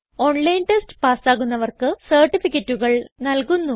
online test പാസ്സാകുന്നവർക്ക് സർട്ടിഫികറ്റുകൾ നല്കുന്നു